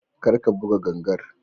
karka buga gangar